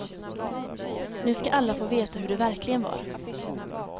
Nu ska alla få veta hur det verkligen var.